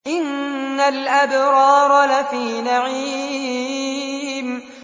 إِنَّ الْأَبْرَارَ لَفِي نَعِيمٍ